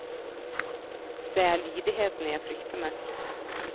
Det er lydigheten jeg frykter mest.